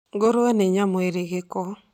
Ngũrũwe nĩ nyamũ irĩ gĩko